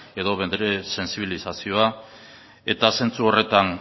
edo bere sentsibilizazioa eta zentzu horretan